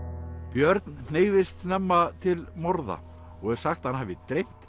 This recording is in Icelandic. björn hneigðist snemma til morða og er sagt að hann hafi dreymt